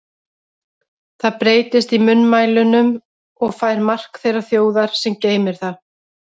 Það breytist í munnmælunum og fær mark þeirrar þjóðar, sem geymir það.